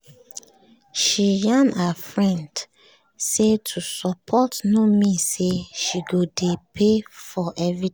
she yarn her friend say to support no mean say she go dey pay for everything